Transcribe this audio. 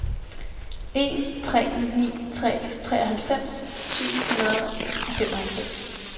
en tre ni tre treoghalvfems syv hundrede og femoghalvfems